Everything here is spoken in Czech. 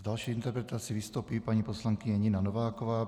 S další interpelací vystoupí paní poslankyně Nina Nováková.